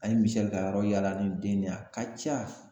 An ye Misɛli ka yɔrɔ yaala nin den nin ye a ka ca